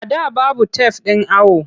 A da babu tef ɗin awo.